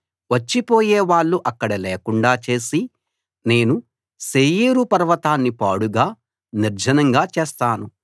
వచ్చే పోయే వాళ్ళు అక్కడ లేకుండా చేసి నేను శేయీరు పర్వతాన్ని పాడుగా నిర్జనంగా చేస్తాను